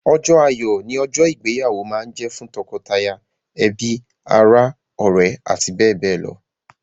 Ọjọ́ ayọ̀ ni ọjọ́ ìgbéyàwó máa ń jẹ fún tọkọtaya, ẹbi, ara, ọ̀rẹ́, àti bẹ́ẹ̀ bẹ́ẹ̀ lọ.